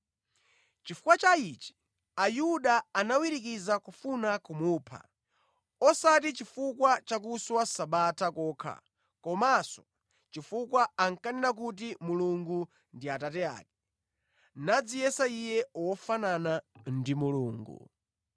Chifukwa cha ichi Ayuda anawirikiza kufuna kumupha; osati chifukwa chakuswa Sabata kokha komanso chifukwa ankanena kuti Mulungu ndi Atate ake, nadziyesa Iye wofanana ndi Mulungu.